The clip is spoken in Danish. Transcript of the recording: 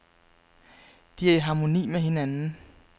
De er i harmoni med hinanden.